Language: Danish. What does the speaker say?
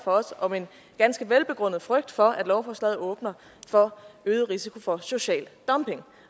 om en ganske velbegrundet frygt for at lovforslaget åbner for øget risiko for social dumping